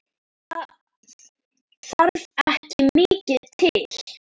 Það þarf ekki mikið til?